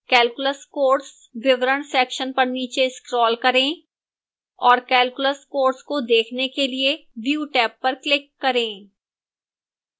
calculus course विवरण section पर नीचे scroll करें और calculus course को देखने के लिए view टैब पर click करें